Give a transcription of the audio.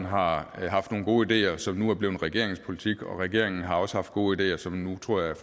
har haft nogle gode ideer som nu er blevet regeringens politik og regeringen har også haft gode ideer som nu tror jeg